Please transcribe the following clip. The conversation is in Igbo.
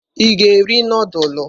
Ị ga-eri nudulu?